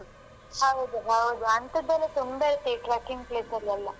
ಹೌದು ಹೌದು ಹೌದು ಅಂತದೆಲ್ಲಾ ತುಂಬಾ ಈ trekking place ಅಲ್ಲೆಲ್ಲ.